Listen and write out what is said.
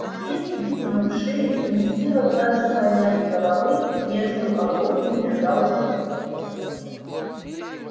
здесь вытянув шею и не в силах даже поднять головы между оглобель лежал боксёр